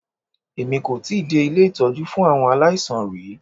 Èmi kò tíì dé ilé ìtọ́jú fún àwọn aláìsàn rí.